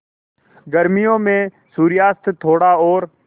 गर्मियों में सूर्यास्त थोड़ा और